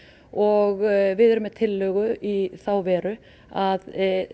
og við erum með tillögu í þá veru að